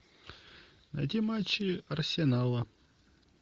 найди матчи арсенала